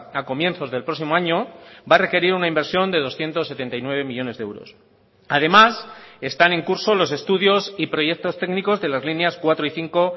a comienzos del próximo año va a requerir una inversión de doscientos setenta y nueve millónes de euros además están en curso los estudios y proyectos técnicos de las líneas cuatro y cinco